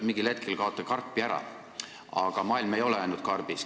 Mingil hetkel kaote karpi ära, aga maailm ei ole ainult karbis.